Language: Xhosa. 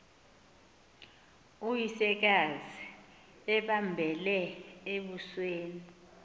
uyisekazi embambele embusweni